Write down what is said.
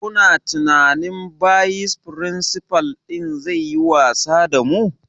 Kuna tsammanin bayis firinsifal ɗin zai yi wasa da mu?